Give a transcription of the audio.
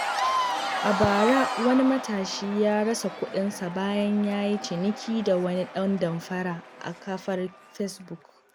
A bara, wani matashi ya rasa kuɗinsa bayan ya yi ciniki da wani ɗan damfara a kafar Fesbuk.